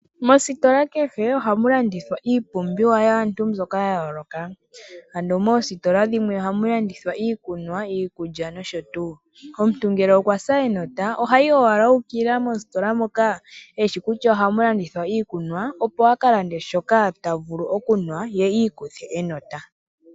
Mositola kehe ohamu landithwa iipumbiwa yaantu mbyoka ya yooloka. Ano moositola dhimwe ohamu landithwa iikunwa, iikulya nosho tuu. Omuntu ngele okwa sa enota ohayi owala u ukilila mositola moka eshi kutya ohamu landithwa iikunwa opo a kalande shoka ta vulu okunwa ye i ikuthe enota.